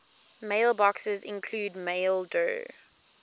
mailboxes include maildir